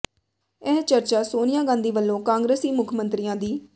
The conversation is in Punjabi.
ਇਹ ਚਰਚਾ ਸੋਨੀਆ ਗਾਂਧੀ ਵੱਲੋਂ ਕਾਂਗਰਸੀ ਮੁੱਖ ਮੰਤਰੀਆਂ ਦੀ